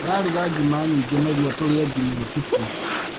Ndĩraruga ngima nyingĩ nĩguo tũrĩe nginya ũtukũ.